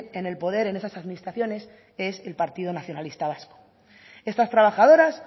en el poder en esas administraciones es el partido nacionalista vasco estas trabajadoras